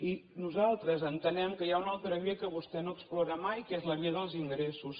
i nosaltres entenem que hi ha una altra via que vostè no explora mai que és la via dels ingressos